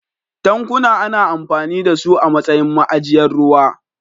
Tankuna ana amfani da su a matsayin ma'ajiyar ruwa.